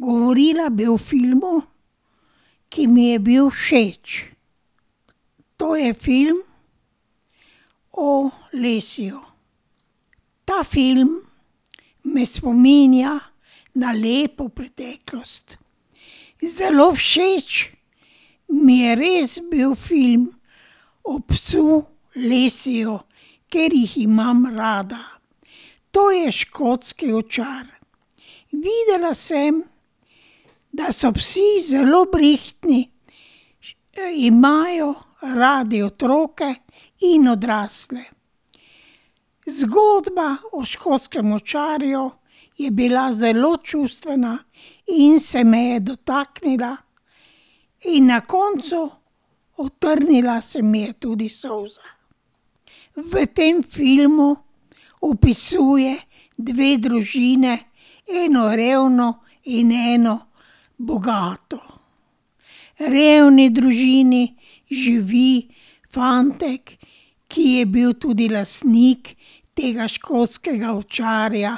Govorila bi o filmu, ki mi je bil všeč. To je film o Lassieju. Ta film me spominja na lepo preteklost. Zelo všeč mi je res bil film o psu Lassieju, ker jih imam rada. To je škotski ovčar. Videla sem, da so psi zelo brihtni. Imajo radi otroke in odrasle. Zgodba o škotskem ovčarju je bila zelo čustvena in se me je dotaknila in na koncu utrnila se mi je tudi solza. V tem filmu opisuje dve družini, eno revno in eno bogato. V revni družini živi fantek, ki je bil tudi lastnik tega škotskega ovčarja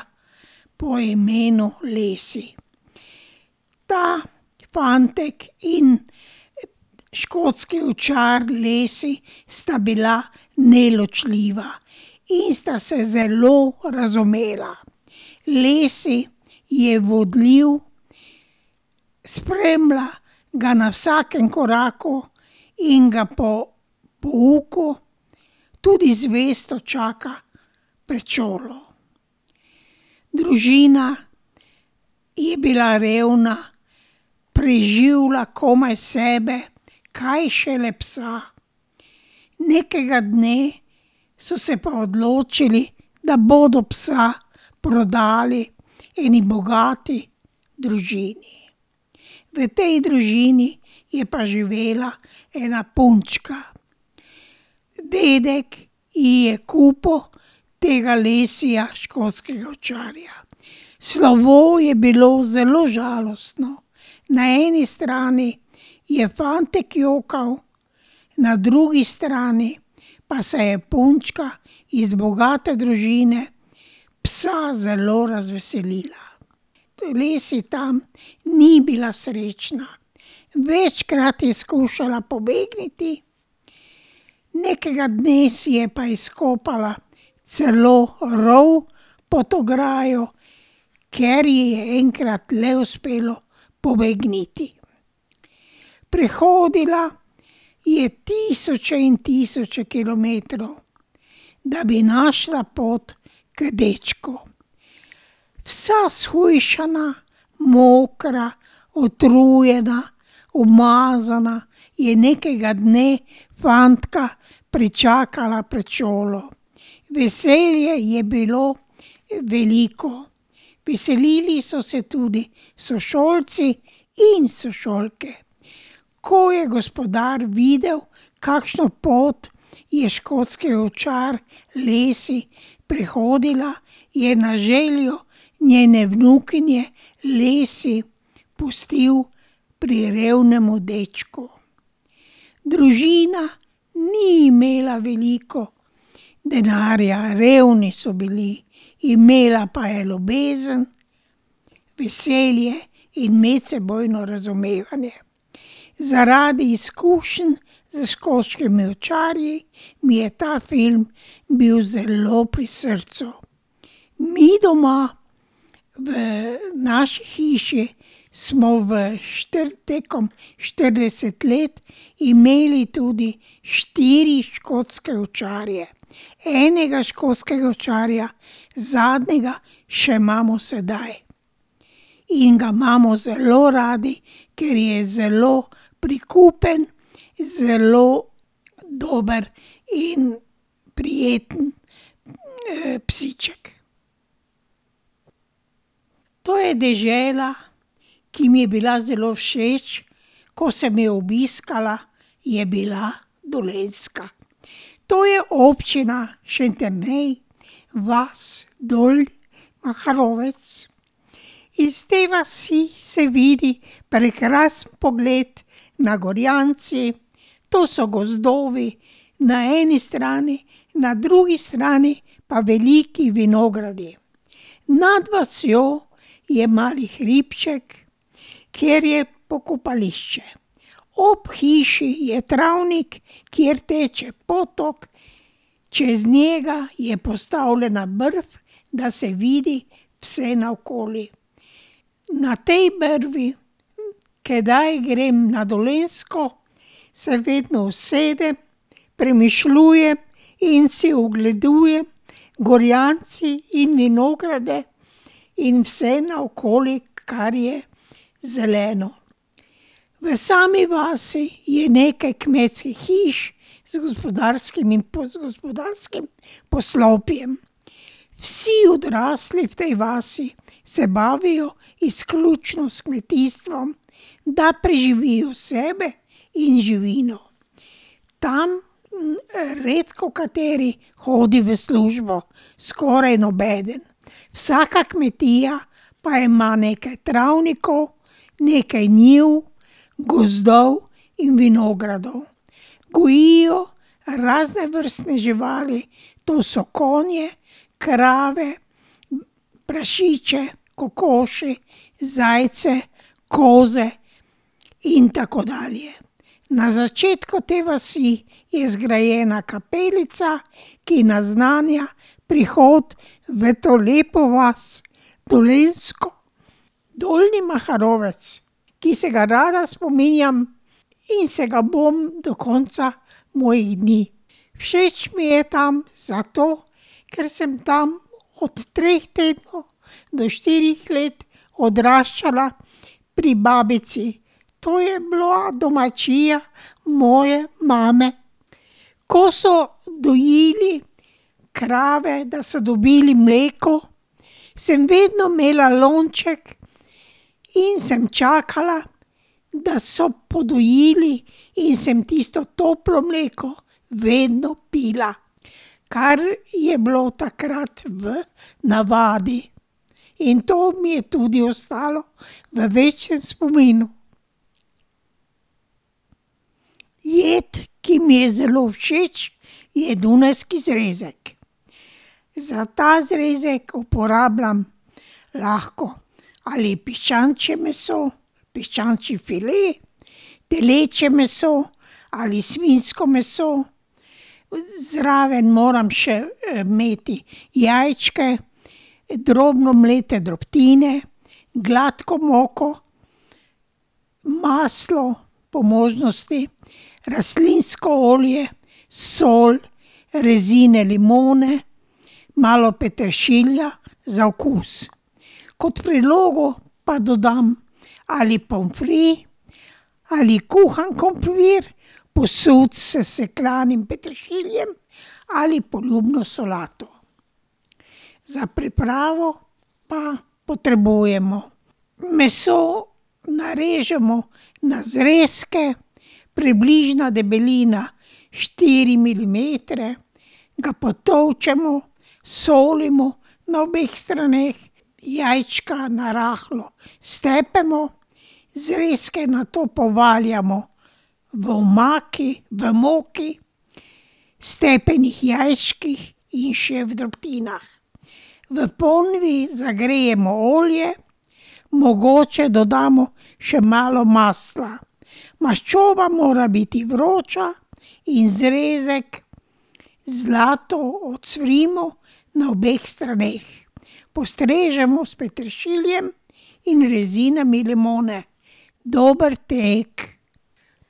po imenu Lassie. Ta fantek in škotski ovčar Lassie sta bila neločljiva in sta se zelo razumela. Lassie je vodljiv, spremlja ga na vsakem koraku in ga po pouku tudi zvesto čaka pred šolo. Družina je bila revna, preživlja komaj sebe, kaj šele psa. Nekega dne so se pa odločili, da bodo psa prodali eni bogati družini. V tej družini je pa živela ena punčka. Dedek ji je kupil tega Lassieja, škotskega ovčarja. Slovo je bilo zelo žalostno, na eni strani je fantek jokal, na drugi strani pa se je punčka iz bogate družine psa zelo razveselila. Lassie tam ni bila srečna. Večkrat je skušala pobegniti, nekega dne si je pa izkopala celo rov pod ograjo, ker ji je enkrat le uspelo pobegniti. Prehodila je tisoče in tisoče kilometrov, da bi našla pot k dečku. Vsa shujšana, mokra, utrujena, umazana je nekega dne fantka pričakala pred šolo. Veselje je bilo veliko. Veselili so se tudi sošolci in sošolke. Ko je gospodar videl, kakšno pot je škotski ovčar Lassie prehodila, je na željo njene vnukinje Lassie pustil pri revnem dečku. Družina ni imela veliko denarja, revni so bili, imela pa je ljubezen, veselje in medsebojno razumevanje. Zaradi izkušenj s škotskimi ovčarji mi je ta film bil zelo pri srcu. Mi doma v naši hiši smo v tekom štirideset let imeli tudi štiri škotske ovčarje. Enega škotskega ovčarja, zadnjega, še imamo sedaj. In ga imamo zelo radi, ker je zelo prikupen, zelo dober in prijeten, psiček. To je dežela, ki mi je bila zelo všeč, ko sem jo obiskala, je bila Dolenjska. To je Občina Šentjernej, vas Dol Maharovec. Iz te vasi se vidi prekrasen pogled na Gorjance, to so gozdovi, na eni strani, na drugi strani pa veliki vinogradi. Nad vasjo je mali hribček, kjer je pokopališče. Ob hiši je travnik, kjer teče potok, čez njega je postavljena brv, da se vidi vse naokoli. Na tej brvi, kdaj grem na Dolenjsko, se vedno usedem, premišljujem in si ogledujem Gorjance in vinograde in vse naokoli, kar je zeleno. V sami vasi je nekaj kmečkih hiš z gospodarskimi, gospodarskim poslopjem. Vsi odrasli v tej vasi se bavijo izključno s kmetijstvom, da preživijo sebe in živino. Tam, redkokateri hodi v službo, skoraj nobeden. Vsaka kmetija pa ima nekaj travnikov, nekaj njivi, gozdov in vinogradov. Gojijo raznovrstne živali, to so konje, krave, prašiče, kokoši, zajce, koze in tako dalje. Na začetku te vasi je zgrajena kapelica, ki naznanja prihod v to lepo vas dolenjsko, Dolnji Maharovec, ki se ga rada spominjam in se ga bom do konca mojih dni. Všeč mi je tam zato, ker sem tam od treh tednov do štirih let odraščala pri babici. To je bila domačija moje mame. Ko so dojili krave, da so dobili mleko, sem vedno imela lonček in sem čakala, da so podojili, in sem tisto toplo mleko vedno pila. Kar je bilo takrat v navadi. In to mi je tudi ostalo v večnem spominu. Jed, ki mi je zelo všeč, je dunajski zrezek. Za ta zrezek uporabljam lahko ali piščančje meso, piščančji file, telečje meso ali svinjsko meso, zraven moram še imeti jajčke, drobno mlete drobtine, gladko moko, maslo, po možnosti rastlinsko olje, sol, rezine limone, malo peteršilja za okus. Kot prilogo pa dodam ali pomfri ali kuhan krompir, posut s sesekljanim peteršiljem, ali poljubno solato. Za pripravo pa potrebujemo: meso narežemo na zrezke, približna debelina štiri milimetre, ga potolčemo, solimo na obeh straneh. Jajčka narahlo stepemo. Zrezke nato povaljamo v omaki, v moki, stepenih jajčkih in še v drobtinah. V ponvi zagrejemo olje, mogoče dodamo še malo masla. Maščoba mora biti vroča in zrezek zlato ocvrimo na obeh straneh. Postrežemo s peteršiljem in rezinami limone. Dober tek.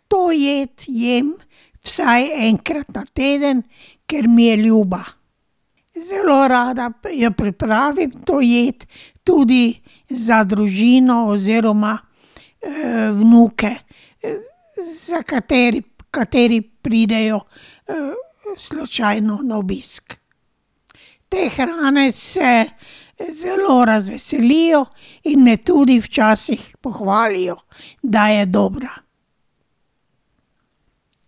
To jed jem vsaj enkrat na teden, ker mi je ljuba. Zelo rada jo pripravim to jed tudi za družino oziroma, vnuke, za kateri pridejo, slučajno na obisk. Te hrane se zelo razveselijo in me tudi včasih pohvalijo, da je dobra.